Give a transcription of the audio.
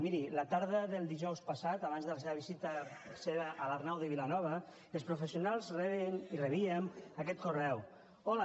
miri la tarda del dijous passat abans de la seva visita a l’arnau de vilanova els professionals rebien aquest correu hola